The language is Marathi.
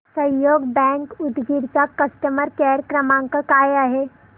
सहयोग बँक उदगीर चा कस्टमर केअर क्रमांक काय आहे